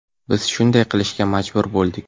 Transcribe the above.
Biz shunday qilishga majbur bo‘ldik.